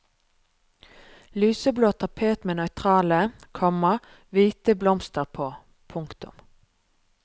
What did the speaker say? Lyseblå tapet med nøytrale, komma hviteblomster på. punktum